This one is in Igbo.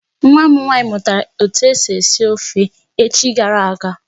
Nwa m nwaanyị mụtara etu esi esi ofe echi gara aga.